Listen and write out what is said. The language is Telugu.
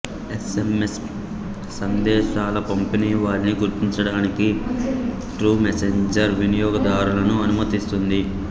ఎస్ ఎం ఎస్ సందేశాల పంపినవారిని గుర్తించడానికి ట్రూమెసెంజర్ వినియోగదారులను అనుమతిస్తుంది